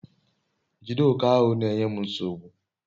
jide oke ahu nenye m nsogbu